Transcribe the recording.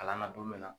Kalan na don min na